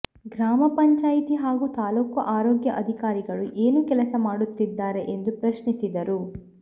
ಗ್ರಾಮ ಪಂಚಾಯಿತಿ ಹಾಗೂ ತಾಲ್ಲೂಕು ಆರೋಗ್ಯ ಅಧಿಕಾರಿಗಳು ಏನು ಕೆಲಸ ಮಾಡುತ್ತಿದ್ದಾರೆ ಎಂದು ಪ್ರಶ್ನಿಸಿದರು